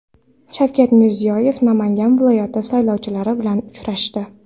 Shavkat Mirziyoyev Namangan viloyati saylovchilari bilan uchrashdi.